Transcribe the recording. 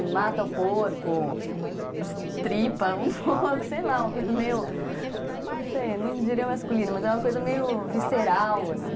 De mata o porco, destripa o porco, sei lá, uma coisa meio, não sei, não diria masculina, mas é uma coisa meio visceral, assim.